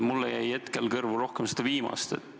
Mulle jäi hetkel kõrvu rohkem seda viimast.